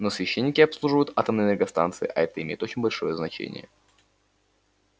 но священники обслуживают атомные энергостанции а это имеет очень большое значение